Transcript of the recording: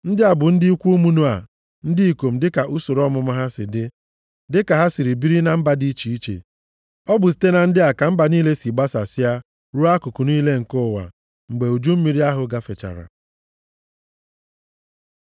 Ndị a bụ ndị ikwu ụmụ Noa ndị ikom dịka usoro ọmụmụ ha si dị, dịka ha si biri na mba dị iche iche. Ọ bụ site na ndị a ka mba niile si gbasasịa ruo akụkụ niile nke ụwa mgbe uju mmiri ahụ gafechara.